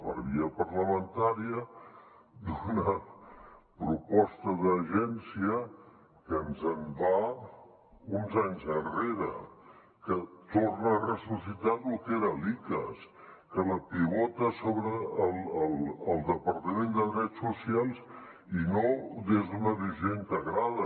per via parlamentària una proposta d’agència que se’ns en va uns anys enrere que torna a ressuscitar lo que era l’icass que la pivota a sobre el departament de drets socials i no des d’una visió integrada